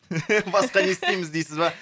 басқа не істейміз дейсіз ба